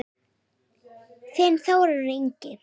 Þinn Þórður Ingi.